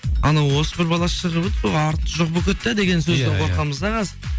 анау осы бір бала шығып еді сол арты жоқ болып кетті иә деген сөзден қорқамыз да қазір